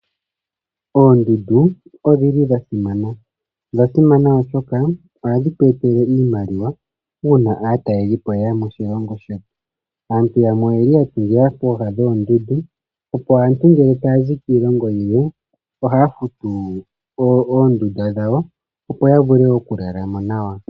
Oondundu odhili dha simana. Odha simana oshoka ohadhi tu etele iimaliwa uuna aatalelipo yeya moshilongo shetu. Aantu yamwe oyeli ya tungila pooha dhoondundu opo aantu ngele taya zi kiilongo yilwe, ohaya futu oondunda dhawo, opo ya vule okulalamo nawa.